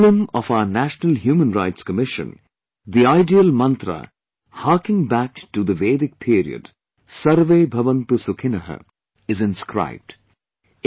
In the emblem of our National Human Rights Commission, the ideal mantra harking back to Vedic period "SarveBhavantuSukhinah" is inscribed